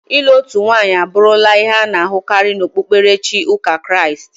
Ịlụ otu nwanyị abụrụla ihe a na-ahụkarị n'okpukperechi ụka Kraịst.